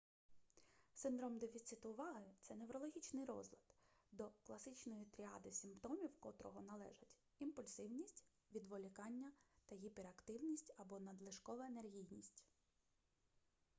синдром дефіциту уваги - це неврологічний розлад до класичної тріади симптомів котрого належать імпульсивність відволікання та гіперактивність або надлишкова енергійність